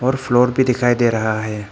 और फ्लोर भी दिखाई दे रहा है।